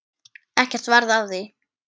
Ekkert varð af því.